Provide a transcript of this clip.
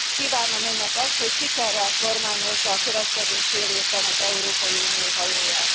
Kívánom önnek azt, hogy sikerrel kormányozza a következő fél évben az Európai Unió hajóját.